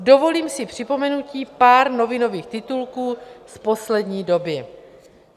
Dovolím si připomenutí pár novinových titulků z poslední doby.